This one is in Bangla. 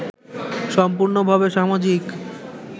সম্পূর্নভাবে সামাজিক